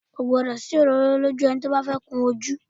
Kò gbọ́dọ̀ sí òróró lójú ẹni tí ó bá fẹ́ kun ojú